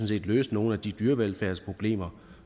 set løse nogle af de dyrevelfærdsproblemer